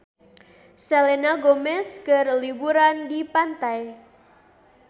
Selena Gomez keur liburan di pantai